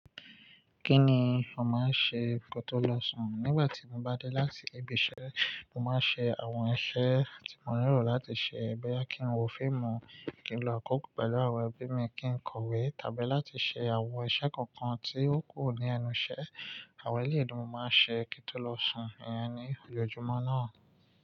Kí ni ò máa ń ṣe kótó lọ sùn? Nígbà tí mo bá dé láti ibi iṣẹ́, mo máa ń ṣe àwọn iṣẹ́ tí mo nilo láti ṣe boyà kí n wo fíìmù, kí n lọ kókó pẹ̀lú àwọn ẹbí mi, kí n kọ̀wé, tàbí láti ṣe àwọn iṣẹ́ kankan tí ó kù ní ẹnu ṣẹ́. Àwọn eléyi dúú máa ṣe kí tó lọ sùn, ìyẹn ni ojoojúmọ́ náà.